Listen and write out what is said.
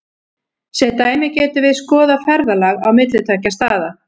Sem dæmi getum við skoðað ferðalag á milli tveggja staða.